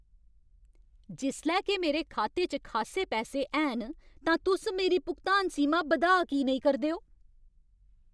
जिसलै के मेरे खाते च खासे पैसे हैन तां तुस मेरी भुगतान सीमा बधाऽ की नेईं करदे ओ?